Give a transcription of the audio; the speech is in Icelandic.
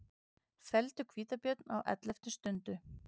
Felldu hvítabjörn á elleftu stundu